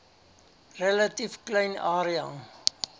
relatief klein area